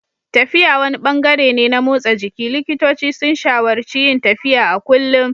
Tafiya wani ɓangare ne na motsa jiki, likitoci sun shawararci yin tafiya a kullum.